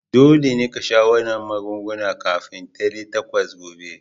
Dole ne ka sha wannan magungunan kafin dare takwas gobe!